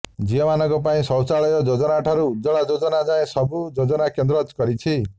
ଝିଅମାନଙ୍କ ପାଇଁ ଶୌଚାଳୟ ଯୋଜନାଠାରୁ ଉଜ୍ଜ୍ୱଳା ଯୋଜନା ଯାଏ ସବୁ ଯୋଜନା କେନ୍ଦ୍ର କରିଛି